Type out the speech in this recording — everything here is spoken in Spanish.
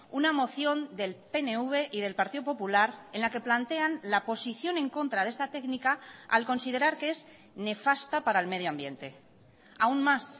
una moción del pnv y del partido popular en la que plantean la posición en contra de esta técnica al considerar que es nefasta para el medio ambiente aun más